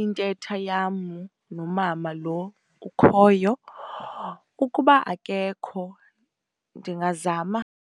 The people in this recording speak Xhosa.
intetha yam nomama lo ukhoyo. Ukuba akekho ndingazama.